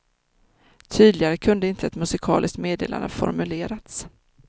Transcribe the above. Tydligare kunde inte ett musikaliskt meddelande formulerats.